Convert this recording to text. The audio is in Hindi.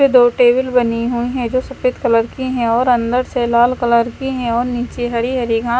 दो टेबल बनी हुई हैं जो सफेद कलर की हैं और अंदर से लाल कलर की है और नीचे हरी हरी घा--